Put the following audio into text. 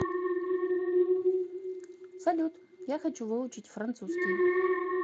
салют я хочу выучить французский